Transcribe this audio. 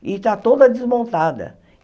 e está toda desmontada.